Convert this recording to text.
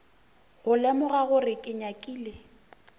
go lemoga gore ke nyakile